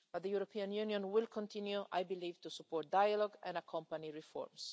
them. But the European Union will continue, I believe, to support dialogue and accompany reforms.